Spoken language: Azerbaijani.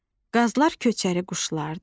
Qazlar köçəri quşlardır.